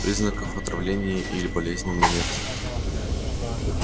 признаков отравления или болезни у меня нет